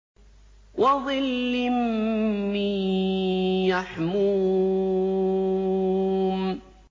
وَظِلٍّ مِّن يَحْمُومٍ